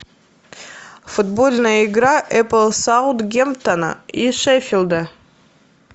футбольная игра эпл саутгемптона и шеффилда